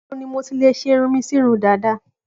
Níbo ni mo ti lè ṣe irun mi sí irun dàda?